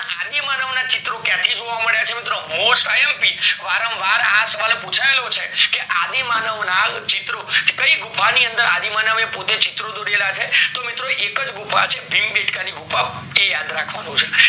આદિમાનવ ના ચિત્ર ક્યાંથી જોવા મળ્યા છે મિત્રો mostIMP વારમ વાર આ સવાલ પુચાયેલો છે કે અદિમનવ ના ચિત્રો એ કાય ગુફા ની અંદર આદિમાનવ એ પોતે ચિત્ર દોરેલા છે તો એકજ ગુફા છે ભીમ બેડકા ની ગુફા એ યાદ રાખવાનું છે